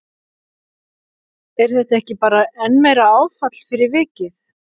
Er þetta ekki bara enn meira áfall fyrir vikið?